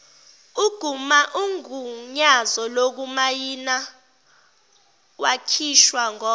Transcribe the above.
ugunyazo lokumayinawakhishwa ngoko